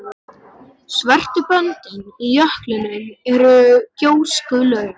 Svörtu böndin í jöklinum eru gjóskulög.